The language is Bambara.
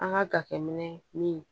An ka jateminɛ min